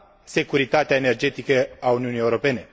securitatea energetică a Uniunii Europene.